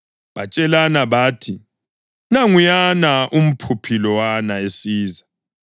Batshelana bathi, “Nanguyana umphuphi lowana esiza.